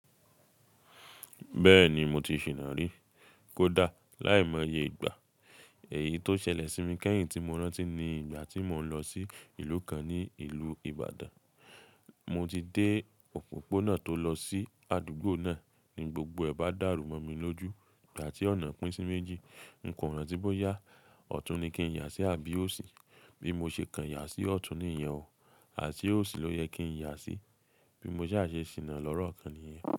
Bẹ́ẹ̀ni mo ti ṣìná rí. Kódà láìmọye ìgbà. Èyí tó ṣẹlẹ̀ sí mi kẹ́hìn tí mo rántí ni ìgbà tí mò ń lọ sí ìlú kan ní ìlú Ibadan. Mo ti dé òpópónà tó lọ sí àdúgbò náà ni gbogbo ẹ ba dàrú mọ́ mi lójú. Ìgbà tí ọ̀nà pín sí méjì, ǹko ràntí bóyá, ọ̀tún ni kí n yà sí àbí òsì. Bí mo ṣe kàn yà sí ọ̀tún ni ìyẹn ó. Àse òsì ló yẹ kí n yà sí. Bí mo ṣá ṣe ṣìná lọ́rokan niyẹn.